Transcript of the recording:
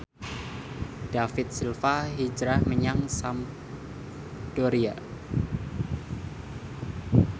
David Silva hijrah menyang Sampdoria